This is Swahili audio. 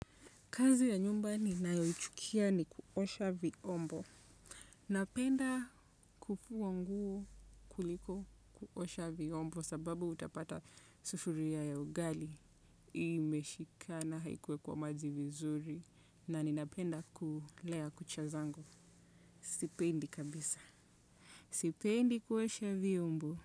Kazi ya nyumba ninayochukia ni kuosha viombo. Napenda kufua nguo kuliko kuosha viombo sababu utapata sufuria ya ugali. Imeshikana haikuwekwa maji vizuri na ninapenda kulea kucha zangu. Sipendi kabisa. Sipendi kuosha viombo.